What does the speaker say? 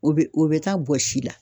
O bɛ o bɛ taa bɔsi la.